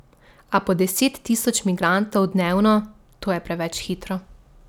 A po deset tisoč migrantov dnevno, to je preveč prehitro.